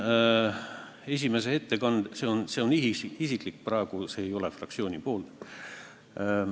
See on praegu minu isiklik repliik, ma ei ütle seda fraktsiooni esindajana.